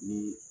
Ni